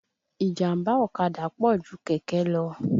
Ìjàmbá ọ̀kadà pọ̀ ju kẹ̀kẹ́ lọ.